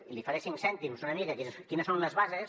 i li faré cinc cèntims una mica de quines són les bases